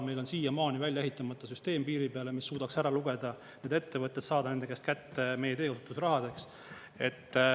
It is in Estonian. Meil on siiamaani välja ehitamata süsteem piiri peale, mis suudaks ära lugeda need ettevõtted, saada nende käest kätte meie teekasutusrahadeks.